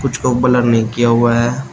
कुछ को ब्लर नहीं किया हुआ हैं।